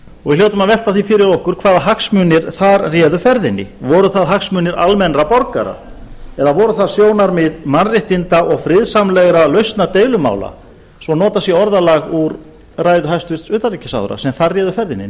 og við hljótum að velta því fyrir okkur hvaða hagsmunir þar réðu ferðinni voru það hagsmunir almennra borgara eða voru það sjónarmið mannréttinda og friðsamlegra lausna deilumála svo notað sé orðalag úr ræðu hæstvirts utanríkisráðherra sem þar réði ferðinni